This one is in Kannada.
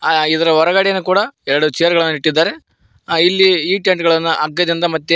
ಆ ಇದರ ಹೊರಗಡೆನು ಕೂಡ ಎರಡು ಚೇರ್ಗ ಳನ್ನು ಇಟ್ಟಿದ್ದಾರೆ ಈ ಟೆಂಟ್ ಗಳನ್ನು ಹಗ್ಗದಿಂದ ಮತ್ತೆ --